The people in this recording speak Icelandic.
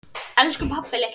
Elsku pabbi litli.